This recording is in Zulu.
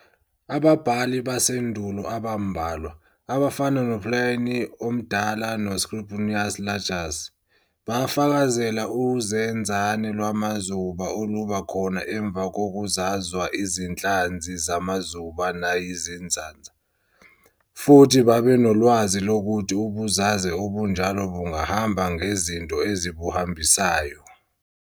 Ababhali basendulo abambalwa, abafana no-Pliny oMdala no-Scribonius Largus, bafakazela uzenzane lwamazuba oluba khona emva kokuzazwa izinhlanzi zamazuba nayizinzaza, futhi babenolwazi lokuthi ubuzaze obunjalo bungahamba ngezinto ezibuhambisayo.